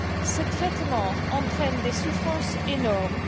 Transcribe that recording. Ce traitement entraîne des souffrances énormes.